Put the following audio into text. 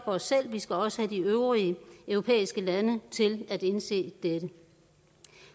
os selv vi skal også have de øvrige europæiske lande til at indse dette